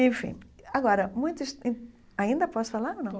Enfim, agora, ainda posso falar ou não?